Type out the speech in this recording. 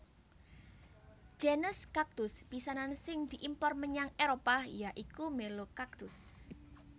Genus kaktus pisanan sing diimpor menyang Éropah ya iku Melocactus